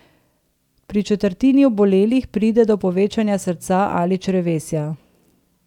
Pri četrtini obolelih pride do povečanja srca ali črevesja.